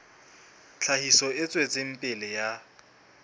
tlhahiso e tswetseng pele ya